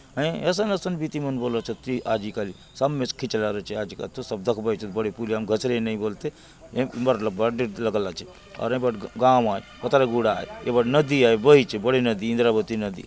अय असन-असन बीती मन बले अछत आजी काल सब ने खिचलार अछे आचि काली तो सब दखबाय चत की बड़े पुलिया ने घसरे नहीं बलते अउर ये बाट गांव आय बुथालगुडा आय ये बाट नदी आय बहीचे बड़े नदी इंद्रावती नदी --